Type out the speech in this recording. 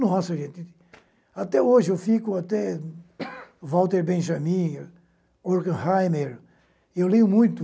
Nossa, gente, até hoje eu fico até Walter Benjamin, Horkheimer, eu leio muito,